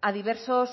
a diversos